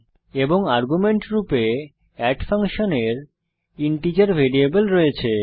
এবং আর্গুমেন্ট রূপে এড ফাংশনের ইন্টিজার ভ্যারিয়েবল রয়েছে